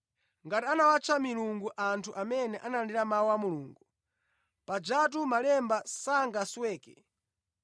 Ngati anawatcha milungu anthu amene analandira mawu a Mulungu, pajatu Malemba sangasweke,